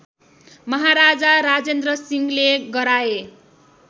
महाराजा राजेद्रसिंहले गराए